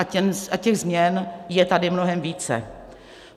A těch změn je tady mnohem více.